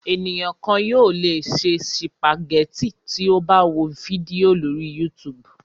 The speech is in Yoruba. Ènìyàn kan yóò le se sìpàgẹ́tì tí ó bá wo fídíò lórí YouTube.